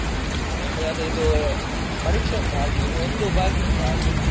ಹಾ ಇನ್ನು ಅದೇ ಇದು, ಪರೀಕ್ಷೆ ಉಂಟು ಹಾಗೆ, ಇನ್ನು ಒಂದು ಬಾಕಿ ಉಂಟು ಹಾಗೆ.